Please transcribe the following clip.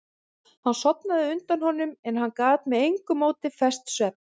Hún sofnaði á undan honum en hann gat með engu móti fest svefn.